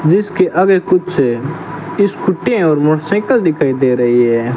जिसके आगे कुछ स्कूटियां और मोटरसाइकिल दिखाई दे रही है।